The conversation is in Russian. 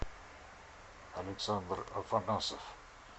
александр афанасов